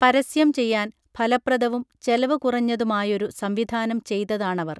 പരസ്യം ചെയ്യാൻ ഫലപ്രദവും ചെലവ് കുറഞ്ഞതുമായൊരു സംവിധാനം ചെയ്തതാണവർ